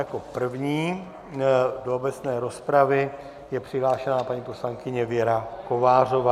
Jako první do obecné rozpravy je přihlášena paní poslankyně Věra Kovářová.